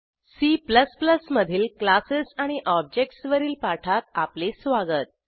C मधील classes आणि objects वरील पाठात आपले स्वागत